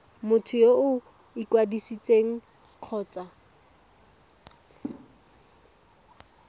motho yo o ikwadisitseng kgotsa